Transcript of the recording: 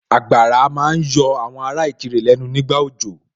Àgbàrá ma ń yọ àwọn ará Ìkirè lẹ́nu nígbà òjò